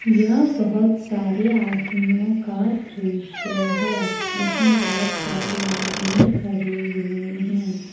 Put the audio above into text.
यह बहुत सारे आदमियों का दृश्य है जिसमें बहुत सारे आदमी खड़े हुए हैं।